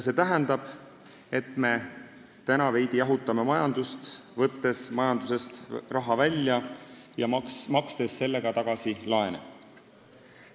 See tähendab, et me jahutame veidi majandust, võttes majandusest raha välja ja makstes sellega tagasi laene.